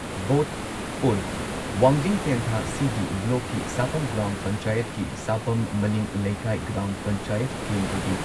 Vote ꯑꯣꯜ Wangjing Tentha CD. ꯕ꯭ꯂꯣꯛꯀꯤ ꯁꯥꯄꯝ ꯒ꯭ꯔꯥꯝ ꯄꯟꯆꯥꯌꯠꯀꯤ ꯁꯥꯄꯝ ꯃꯅꯤꯡ ꯂꯩꯀꯥꯏ ꯒ꯭ꯔꯥꯝ ꯄꯟꯆꯥꯌꯠ ꯀꯦꯟꯗ꯭ꯔꯒꯤ